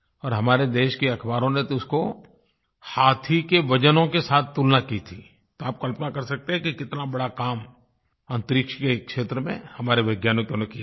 और हमारे देश के अख़बारों ने तो इसकी हाथी के वज़नों के साथ तुलना की थी तो आप कल्पना कर सकते हैं कि कितना बड़ा काम अंतरिक्ष के क्षेत्र में हमारे वैज्ञानिकों ने किया है